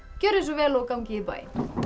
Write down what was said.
gjörið svo vel og gangið í bæinn